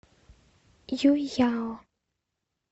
юйяо